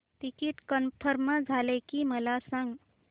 ticket confirm झाले की मला सांग